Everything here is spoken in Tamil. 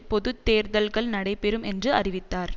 பொது தேர்தல்கள் நடைபெறும் என்று அறிவித்தார்